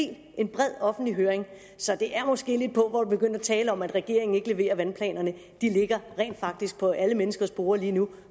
det er en bred offentlig høring så det er måske lidt pauvert at begynde at tale om at regeringen ikke leverer vandplanerne de ligger rent faktisk på alle menneskers borde lige nu